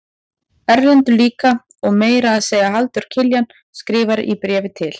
Erlendur líka og meira að segja Halldór Kiljan skrifar í bréfi til